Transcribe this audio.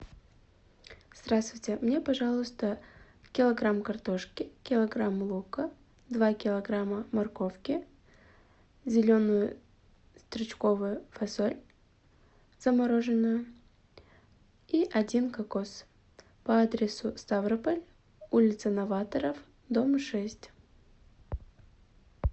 здравствуйте мне пожалуйста килограмм картошки килограмм лука два килограмма морковки зеленую стручковую фасоль замороженную и один кокос по адресу ставрополь улица новаторов дом шесть